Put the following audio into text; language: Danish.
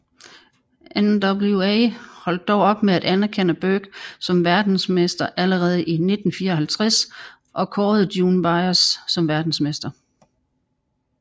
NWA holdt dog op med at anerkende Burke som verdensmester allerede i 1954 og kårede June Byers som verdensmester